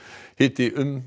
hiti um